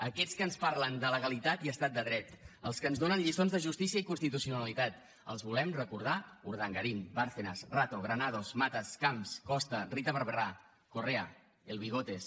a aquests que ens parlen de legalitat i estat de dret als que ens donen lliçons de justícia i constitucionalitat els volem recordar urdangarín bárcenas rato granados matas camps costa rita barberá correa el bigotes